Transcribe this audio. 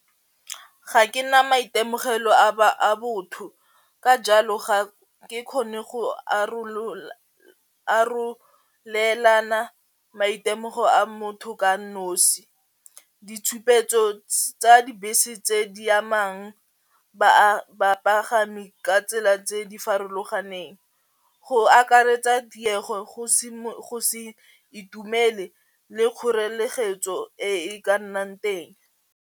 Ga ke na maitemogelo a botho ka jalo ga ke kgone go arolelana maitemogo a motho ka nosi, ditshupetso tsa dibese tse di amang bapagami ka tsela tse di farologaneng go akaretsa go se go se itumele le e ka nnang teng.